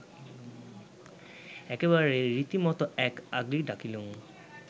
একেবারে রীতিমতো এক আগলি ডাকলিঙ